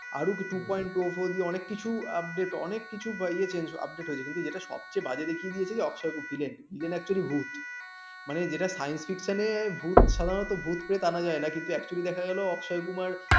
আরো two দিয়ে আরো অনেক কিছু update অনেক কিছু বা ইয়ে change update হয়েছে যেটা সবচেয়ে বাজে জিনিস দেখিয়েছিল অক্ষয় villain villan actually ভুত মানে যেটা science fiction নে ভূত সাধারণত ভূতপ্রেত আনা যায় না কিন্তু actually দেখা গেল অক্ষয় কুমার